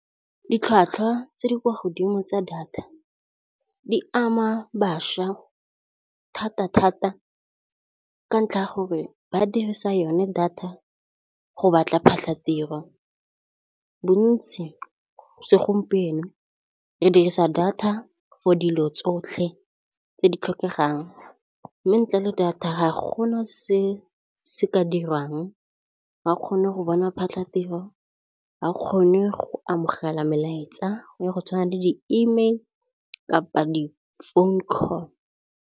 Ditlhwatlhwa tse di kwa godimo tsa data di ama bašwa thata thata ka ntlha ya gore ba dirisa yone data go batla diphatlhatiro, bontsi segompieno re dirisa data for dilo tsotlhe tse di tlhokegang mme ntle le data ga go na se ka dirwang ga o kgone go bona phatlatiro, ga o kgone go amogela melaetsa go ya go tshwana le di-email kapa di-phone call.